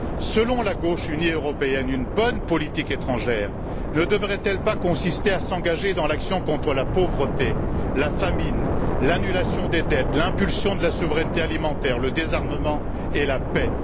Selon la gauche unie européenne, une bonne politique étrangère ne devrait elle pas consister à s'engager dans l'action contre la pauvreté, la famine, l'annulation des dettes, l'impulsion de la souveraineté alimentaire, le désarmement et la paix?